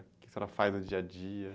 O que a senhora faz no dia a dia?